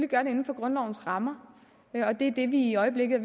gøre det inden for grundlovens rammer og det er det vi i øjeblikket